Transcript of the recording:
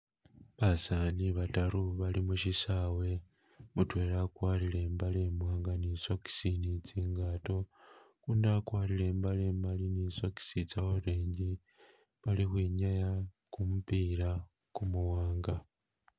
Basani batary bali musisawe , mutwela akwarire imbale imwanga ne socks ne tsingato , uno akwarire imbale imali ne socks tse orange bali ukhwinyaya kumupila kumuwanga.